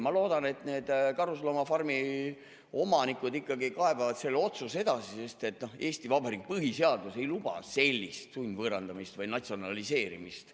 Ma loodan, et need karusloomafarmide omanikud kaebavad selle otsuse edasi, sest Eesti Vabariigi põhiseadus ei luba sellist sundvõõrandamist või natsionaliseerimist.